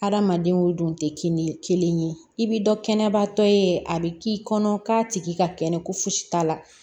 Hadamaden o dun tɛ kin kelen ye i bɛ dɔ kɛnɛbatɔ ye a bɛ k'i kɔnɔ k'a tigi ka kɛnɛ ko fosi t'a la